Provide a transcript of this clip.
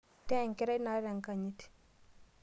Taa enkerai naata enkanyit